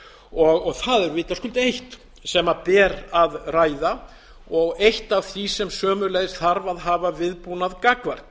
og það er vitaskuld eitt sem ber að ræða og eitt af því sem sömuleiðis þarf að hafa viðbúnað gagnvart